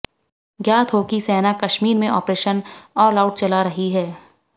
ज्ञात हो कि सेना कश्मीर में ऑपरेशन ऑल आउट चला रही है